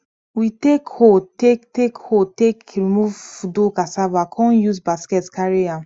we take hoe take take hoe take remove do cassava kon use basket carry am